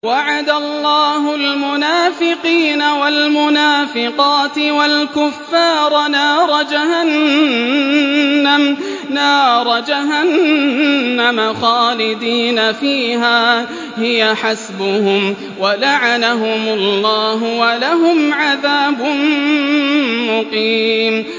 وَعَدَ اللَّهُ الْمُنَافِقِينَ وَالْمُنَافِقَاتِ وَالْكُفَّارَ نَارَ جَهَنَّمَ خَالِدِينَ فِيهَا ۚ هِيَ حَسْبُهُمْ ۚ وَلَعَنَهُمُ اللَّهُ ۖ وَلَهُمْ عَذَابٌ مُّقِيمٌ